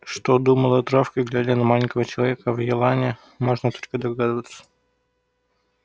что думала травка глядя на маленького человечка в елани можно только догадываться